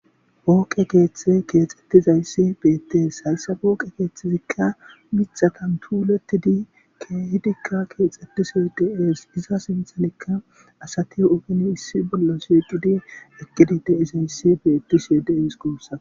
pooqe keeththe keexxettizayssi beetties hayssa pooqe keeththizikka mixatan tuulettidi keehidikka keexxetisi de7ees iza sinthanikka asati ufini issi bolla sieqidi ekidi de7izayssi beettishie deees gussa